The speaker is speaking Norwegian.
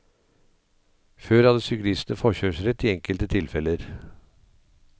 Før hadde syklistene forkjørsrett i enkelte tilfeller.